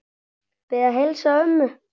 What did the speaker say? Ég bið að heilsa ömmu.